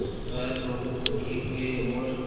वह बहुत दुखी हुए और